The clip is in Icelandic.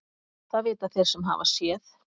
Það vita þeir sem hafa séð.